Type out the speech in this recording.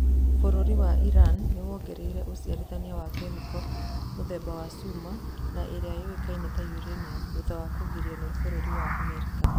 Bũrũri wa Iran 'nĩwongereire ũciarithania wa kemiko mũthemba wa cuma na ĩrĩa yũĩkaine ta Uranium' thutha wa kũgirio nĩ bũrũri wa America